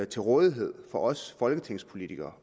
til rådighed for os folketingspolitikere